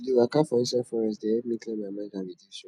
to dey waka for inside forest dey help me clear my mind and reduce stress